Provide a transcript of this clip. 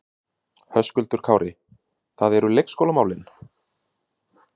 Höskuldur Kári: Það eru leikskólamálin?